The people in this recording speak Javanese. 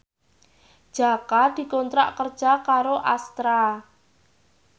Jaka dikontrak kerja karo Astra